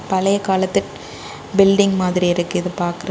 பழைய காலத்து பில்டிங் மாதிரி இருக்கு இது பாக்க.